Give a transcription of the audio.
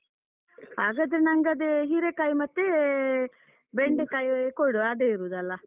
ಹಾಗಾದ್ರೆ ನಂಗದೆ ಹೀರೇಕಾಯಿ ಮತ್ತೆ ಬೆಂಡೆಕಾಯಿ ಕೊಡು, ಅದೇ ಇರುದ್ದಲ್ಲ.